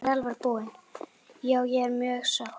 Já ég er mjög sátt.